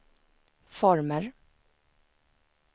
former